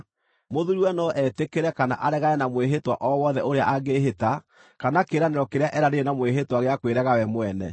Mũthuuriwe no etĩkĩre kana aregane na mwĩhĩtwa o wothe ũrĩa angĩĩhĩta kana kĩĩranĩro kĩrĩa eranĩire na mwĩhĩtwa gĩa kwĩrega we mwene.